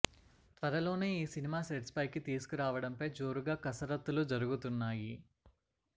త్వరలోనే ఈ cinema sets పైకి తీసుకురావడం పై జోరుగా కసరత్తులు జరుగుతున్నాయి